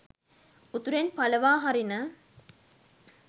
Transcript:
උතුරෙන් පලවා හරින